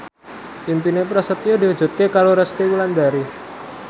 impine Prasetyo diwujudke karo Resty Wulandari